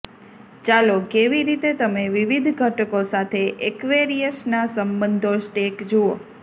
ચાલો કેવી રીતે તમે વિવિધ ઘટકો સાથે એક્વેરિયસના સંબંધો સ્ટેક જુઓ